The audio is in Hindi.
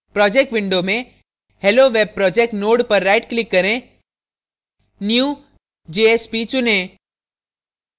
projects window में helloweb projects node पर right click करें new> jsp चुनें